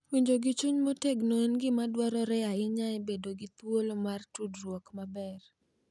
Winjo gi chuny motegno en gima dwarore ahinya e bedo gi thuolo mar tudruok maber.